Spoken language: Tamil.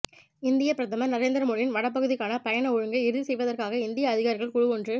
இந்தியப் பிரதமர் நரேந்திர மோடியின் வடபகுதிக்கான பயண ஒழுங்கை இறுதி செய்வதற்காக இந்திய அதிகாரிகள் குழுவொன்று